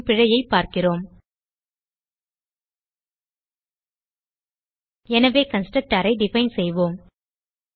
என்னும் பிழையைப் பார்க்கிறோம் எனவே கன்ஸ்ட்ரக்டர் ஐ டிஃபைன் செய்வோம்